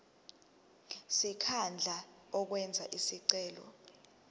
sikhundla owenze isicelo